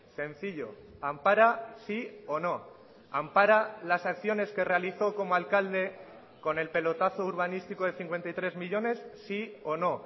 sencillo ampara sí o no ampara las acciones que realizó como alcalde con el pelotazo urbanístico de cincuenta y tres millónes sí o no